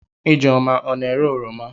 Ijeoma ọ na-ere oroma?